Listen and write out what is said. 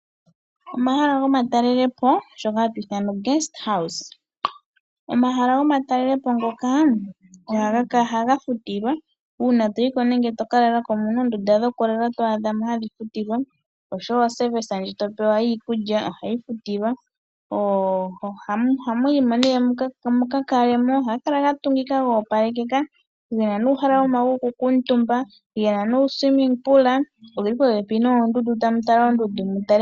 Omahala gomatalelepo shoka hashi ithanwa egumbo lyaatalelipo Omahala gaatalelopo ngaka ohaga futilwa, uuna to yi ko nenge to ka lala ko omu na oondunda ndhoka hadhi futilwa noshowo omayakulo ngoka to pewa giikulya ohaga futilwa. Ohamu yi mo nduno mu ka kale mo. Ohga kala ga tungika go opalekeka, ge na omahala gokukuutumba, uundama wokumbwinda, go oge li popepi noondundu tamu vulu okukala tamu tala oondundu.